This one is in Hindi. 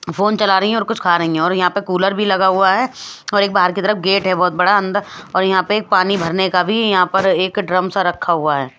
फोन चला रही हैं और कुछ खा रही हैं और यहाँ पे कूलर भी लगा हुआ है और एक बाहर की तरफ गेट है बहोत बड़ा अंदर और यहाँ पे एक पानी भरने का भी यहाँ पर एक ड्रम सा रखा हुआ है।